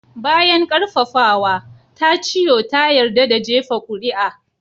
Bayan ƙarfafawa, Tachio ta yarda da jefa kuri'a.